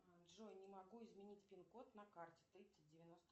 джой не могу изменить пин код на карте тридцать девяносто